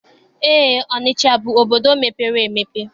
Eé, Ọnịcha bụ obodo mepere emepe.